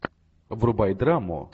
врубай драму